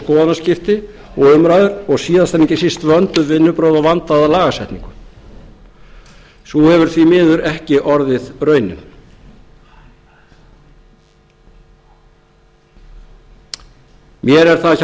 skoðanaskipti og umræður og síðast en ekki síst vönduð vinnubrögð og vandaða lagasetningu svo hefur því ekki miður orðið raunin mér er það